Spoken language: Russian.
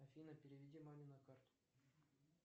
афина переведи маме на карту